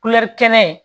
kɛnɛ